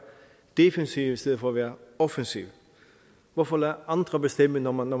defensiv i stedet for at være offensiv hvorfor lade andre bestemme når man